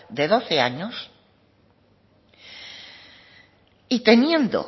de doce años y teniendo